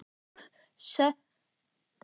Sölvi, læstu útidyrunum.